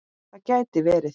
Það gæti verið